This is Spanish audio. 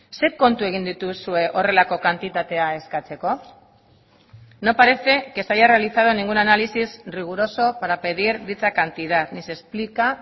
zein kontu egin dituzue horrelako kantitatea eskatzeko no parece que se haya realizado ningún análisis riguroso para pedir dicha cantidad ni se explica